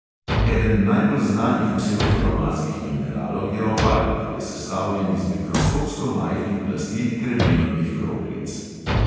Eden najbolj znanih psevdokromatskih mineralov je opal, ki je sestavljen iz mikroskopsko majhnih plasti kremenovih kroglic.